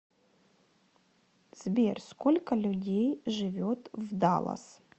сбер сколько людей живет в даллас